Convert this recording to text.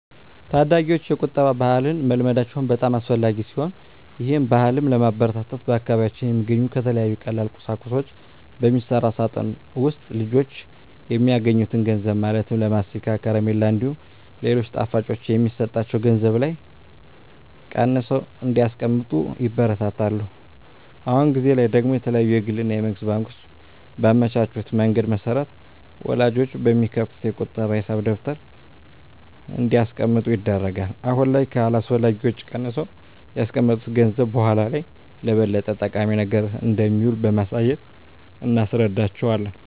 ታዳጊወች የቁጠባ ባህልን መልመዳቸው በጣም አስፈላጊ ሲሆን ይህን ባህልም ለማበረታታት በአካባቢያችን በሚገኙ ከተለያዩ ቀላል ቁሳቁሶች በሚሰራ ሳጥን ውስጥ ልጆች የሚያገኙትን ገንዘብ ማለትም ለማስቲካ፣ ከረሜላ እንዲሁም ሌሎች ጣፋጮች የሚሰጣቸው ገንዘብ ላይ ቀንሰው እንዲያስቀምጡ ይበረታታሉ። አሁን ጊዜ ላይ ደግሞ የተለያዩ የግል እና የመንግስት ባንኮች ባመቻቹት መንገድ መሰረት ወላጆች በሚከፍቱት የቁጠባ ሂሳብ ደብተር እንዲያስቀምጡ ይደረጋል። አሁን ላይ ከአላስፈላጊ ወጪ ቀንሰው ያስቀመጡት ገንዘብ በኃላ ላይ ለበለጠ ጠቃሚ ነገር እንደሚውል በማሳየት እናስረዳቸዋለን።